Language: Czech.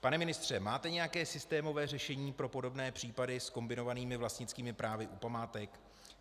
Pane ministře, máte nějaké systémové řešení pro podobné případy s kombinovanými vlastnickými právy u památek?